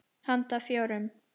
Handa fjórum